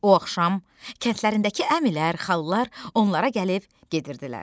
O axşam kəndlərindəki əmilər, xalalar onlara gəlib gedirdilər.